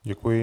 Děkuji.